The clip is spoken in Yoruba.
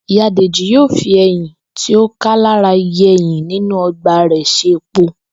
Ìyá Dèjì yóò fi e̩yìn tí ó ká lára igi e̩yìn inú o̩gbà rè̩ s̩e epo